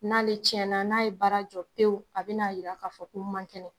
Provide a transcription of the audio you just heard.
N'ale tiɲɛna, n'ale ye baara jɔ pewu , a bɛ n'a jira k'a fɔ ko n man kɛnɛ!